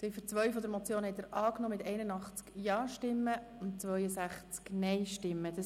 Sie haben Ziffer 2 der Motion mit 81 Ja- gegen 62 Nein-Stimmen angenommen.